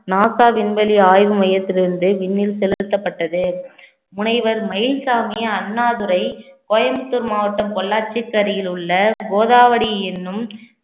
NASA விண்வெளி ஆய்வு மையத்திலிருந்து விண்ணில் செலுத்தப்பட்டது முனைவர் மயில்சாமி அண்ணாதுரை கோயம்புத்தூர் மாவட்டம் பொள்ளாச்சிக்கு அருகில் உள்ள கோதாவரி என்னும்